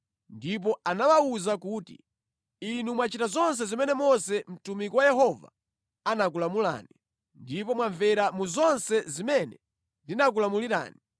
ndipo anawawuza kuti, “Inu mwachita zonse zimene Mose mtumiki wa Yehova anakulamulani, ndipo mwamvera mu zonse zimene ndinakulamulirani.